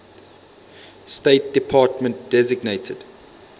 state department designated